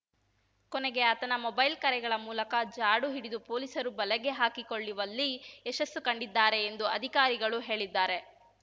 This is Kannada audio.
ಕೊನೆಗೆ ಆತನ ಮೊಬೈಲ್‌ ಕರೆಗಳ ಮೂಲಕ ಜಾಡು ಹಿಡಿದು ಪೊಲೀಸರು ಬಲೆಗೆ ಹಾಕಿಕೊಳ್ಳಿವಲ್ಲಿ ಯಶಸ್ಸು ಕಂಡಿದ್ದಾರೆ ಎಂದು ಅಧಿಕಾರಿಗಳು ಹೇಳಿದ್ದಾರೆ